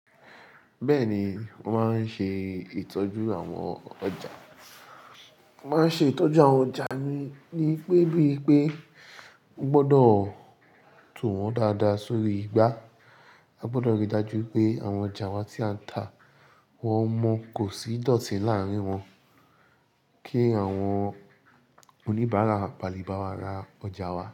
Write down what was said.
Bẹ́ẹ̀ni, mo máa ń ṣe ìtọ́jú àwọn ọjà. Mo máa ń ṣe ìtọ́jú àwọn ọjà mi ní pé bí i pé n gbọdọ̀ tún wọ́n dáadáa sórí igbá. A gbọdọ̀ ríi dájú pé àwọn ọjà wa tí a ń tà wọ́n mọ́ kò sí ìdọ̀tí láàárín wọn kí àwọn oníbàárà bàlé bàwà ra ọjà wa.